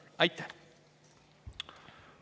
Aitäh!